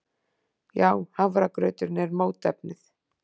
Já, hafragrauturinn er mótefnið.